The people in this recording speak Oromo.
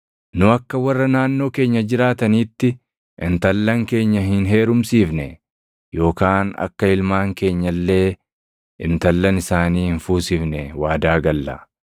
“Nu akka warra naannoo keenya jiraatanitti intallan keenya hin heerumsiifne yookaan akka ilmaan keenya illee intallan isaanii hin fuusifne waadaa galla.